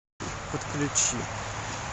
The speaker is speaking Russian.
подключи